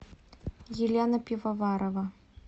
елена пивоварова